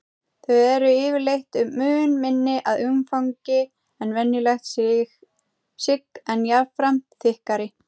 Þau eru yfirleitt mun minni að umfangi en venjulegt sigg en jafnframt þykkari.